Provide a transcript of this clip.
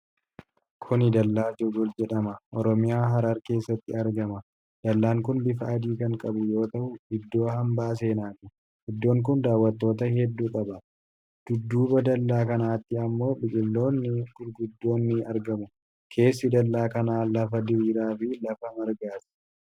Kuni dallaa jagol jedhama. Oromiyaa, Harar, keessatti argama. Dallaan kun bifa adii kan qabu yoo ta'u, iddoo hambaa seenaati. Iddoon kun daawwattoota heddu qaba. Dudduuba dallaa kanatti ammo biqiltoonni gurguddoon ni argamu. Keessi dallaa kana lafa diriiraa fi lafa margaati.